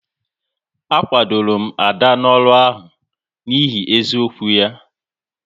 A kwadoro m Ada n'ọrụ ahụ n'ihi eziokwu ya